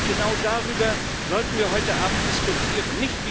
Genau darüber sollten wir heute Abend diskutieren.